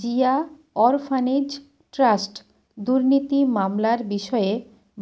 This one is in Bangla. জিয়া অরফানেজ ট্রাস্ট দুর্নীতি মামলার বিষয়ে